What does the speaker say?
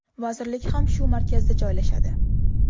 Vazirlik ham shu markazda joylashadi.